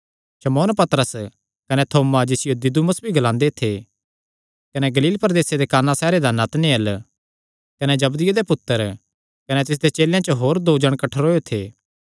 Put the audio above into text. शमौन पतरस कने थोमा जिसियो दिदुमुस ग्लांदे थे कने गलील प्रदेसे दे काना सैहरे दा नतनएल कने जबदिये दे पुत्तर कने तिसदे चेलेयां च दो होर जणे कठ्ठरोयो थे